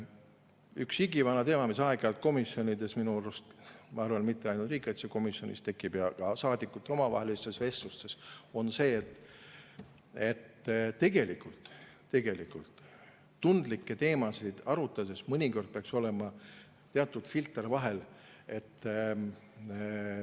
Üks igivana teema, mis aeg-ajalt komisjonides – ma arvan, et mitte ainult riigikaitsekomisjonis –, ka saadikute omavahelistes vestlustes, on see, et tundlikke teemasid arutades peaks mõnikord olema teatud filter vahel.